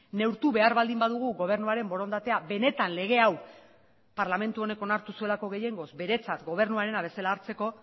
neurtu behar baldin badugu gobernuaren borondatea benetan lege hau parlamentu honek onartu zuelako gehiengoz beretzat gobernuarena bezala hartzeko